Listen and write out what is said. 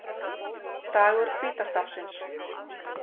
Dagur hvíta stafsins